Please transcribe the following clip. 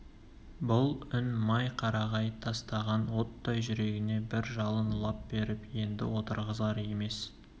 бұл үн май қарағай тастаған оттай жүрегіне бір жалын лап беріп енді отырғызар емес